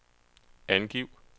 angiv